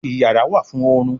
iyàrá wá fún orun.